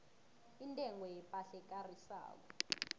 intengo yepahla ekarisako